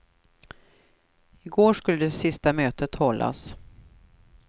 I går skulle det sista mötet hållas.